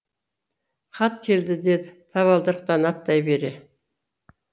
хат келді деді табалдырықтан аттай бере